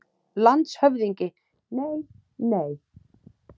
LANDSHÖFÐINGI: Nei, nei!